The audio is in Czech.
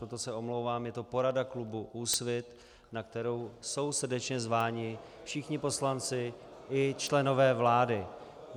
Proto se omlouvám, je to porada klubu Úsvit, na kterou jsou srdečně zváni všichni poslanci i členové vlády.